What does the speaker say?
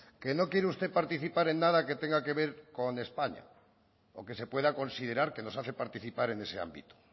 que no quiere usted participar en nada que tenga que ver con españa o que se pueda considerar que nos hace participar en ese ámbito